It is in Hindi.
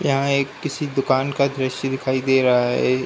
यहाँ एक किसी दुकान का दृश्य दिखाई दे रहा है।